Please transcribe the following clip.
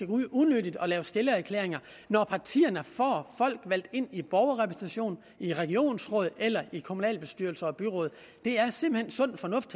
ud unødigt og lave stillererklæringer når partierne får folk valgt ind i borgerrepræsentationen i regionsrådet eller i kommunalbestyrelser og byråd det er simpelt hen sund fornuft